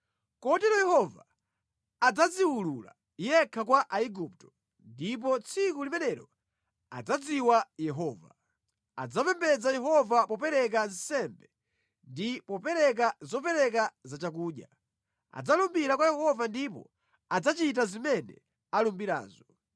Kotero Yehova adzadziulula yekha kwa Aigupto, ndipo tsiku limenelo adzadziwa Yehova. Adzapembedza Yehova popereka nsembe ndi popereka zopereka zachakudya; Adzalumbira kwa Yehova ndipo adzachita zimene alumbirazo.